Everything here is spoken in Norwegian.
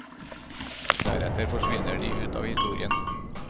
Deretter forsvinner de ut av historien.